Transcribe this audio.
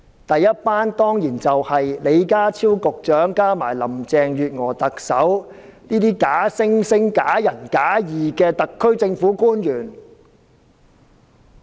第一夥當然是李家超局長加上特首林鄭月娥，這些假惺惺、假仁假義的特區政府官員。